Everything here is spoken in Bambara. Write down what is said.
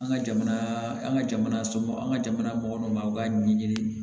An ka jamana an ka jamana somɔgɔw an ka jamana mɔgɔninfinw u ka ɲɛɲini